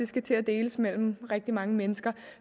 skal til at deles mellem rigtig mange mennesker